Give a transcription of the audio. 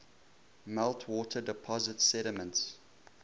meltwater deposits sediments